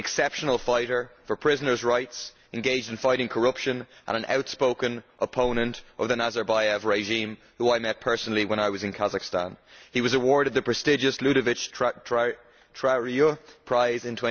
He is an exceptional fighter for prisoners' rights, engaged in fighting corruption and an outspoken opponent of the Nazarbayev regime, whom I met personally when I was in Kazakhstan. He was awarded the prestigious Ludovic Trarieux Prize in